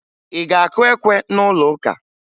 Ị ga-akụ ekwe na'ụlọụka?